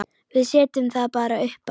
Við setjum það bara uppá.